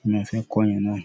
ni mo fẹ́ kọ́ yàn náà.